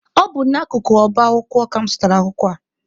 Ọ bụ n'akụkụ ọba akwụkwọ ka mụ zụtara akwụkwọ a.